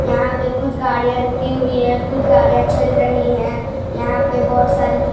यहां पे कुछ गाड़ियां रुकी हुई है कुछ गाड़ियां चल रही है यहां पे बहोत सारी दु--